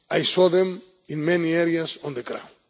I saw them in many areas on the ground.